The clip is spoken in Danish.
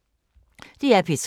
DR P3